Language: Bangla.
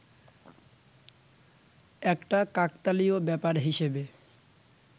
একটা কাকতালীয় ব্যাপার হিসেবে